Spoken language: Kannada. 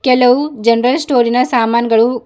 ಕೆಲವು ಜನರಲ್ ಸ್ಟೋರಿನ ಸಾಮಾನ್ ಗಳು--